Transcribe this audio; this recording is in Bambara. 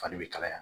Fani bɛ kalaya